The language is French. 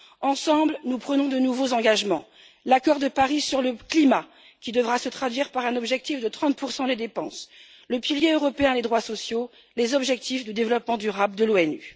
Ensemble, nous prenons de nouveaux engagements l'accord de Paris sur le climat qui devra se traduire par un objectif de 30 des dépenses, le pilier européen des droits sociaux, les objectifs de développement durable de l'ONU.